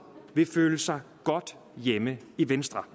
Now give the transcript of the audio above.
vil føle sig godt hjemme i venstre